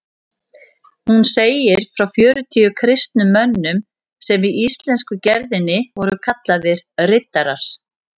Hún segir frá fjörutíu kristnum mönnum sem í íslensku gerðinni voru kallaðir riddarar.